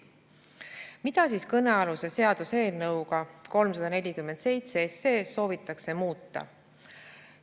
Mida siis kõnealuse seaduseelnõuga 347 soovitakse muuta?